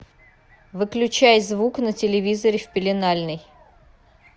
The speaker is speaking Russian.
выключай звук на телевизоре в пеленальной